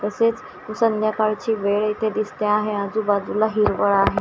तसेच संध्याकाळची वेळ येथे दिसते आहे आजूबाजूला हिरवळ आहे.